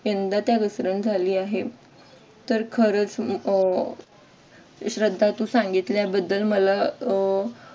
यंदा त्यात घसरण झाली आहे. तर खरंच अह श्रद्धा तू सांगितल्याबद्दल मला